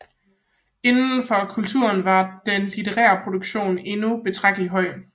Inden for kulturen var den litterære produktion endnu betragtelig høj